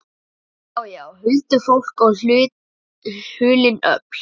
Já, já, huldufólk og hulin öfl.